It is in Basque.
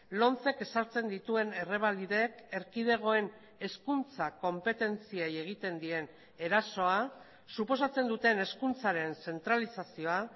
lomcek ezartzen dituen errebalidek erkidegoen hezkuntza konpetentziei egiten dien erasoa suposatzen duten hezkuntzaren zentralizazioa